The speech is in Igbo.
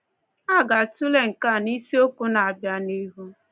A ga-atụle nke a n’isiokwu na-abịa n’ihu.